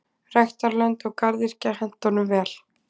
Ræktarlönd og garðyrkja henta honum vel.